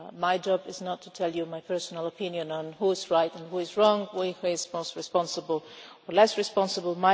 My job is not to tell you my personal opinion on who is right and who is wrong, who is most responsible or less responsible.